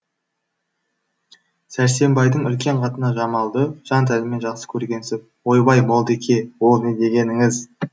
сәрсенбайдың үлкен қатыны жамалды жан тәнімен жақсы көргенсіп ойбай молдеке ол не дегеніңіз